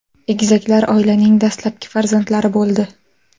Egizaklar oilaning dastlabki farzandlari bo‘ldi.